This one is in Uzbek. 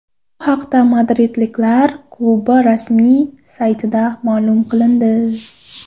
Bu haqda madridliklar klubi rasmiy saytida ma’lum qilindi .